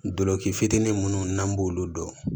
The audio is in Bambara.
Dolɔki fitinin munnu n'an b'olu dɔn